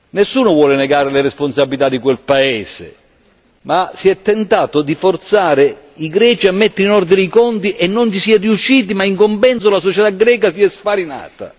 Nessuno vuole negare le responsabilità di quel paese, ma si è tentato di forzare i greci a mettere in ordine i conti e non vi si è riusciti, ma in compenso la società greca si è sfarinata.